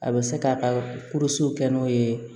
A bɛ se k'a ka kɛ n'o ye